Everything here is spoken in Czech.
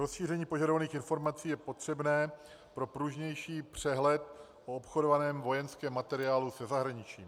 Rozšíření požadovaných informací je potřebné pro pružnější přehled o obchodovaném vojenském materiálu se zahraničím.